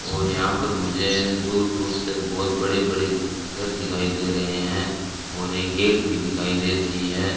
और यहां पर मुझे दूर-दूर तक बहोत बड़े-बड़े घर दिखाई दे रहें हैं और ये गेट भी दिखाई दे रही है।